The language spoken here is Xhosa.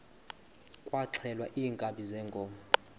kwaxhelwa iinkabi zeenkomo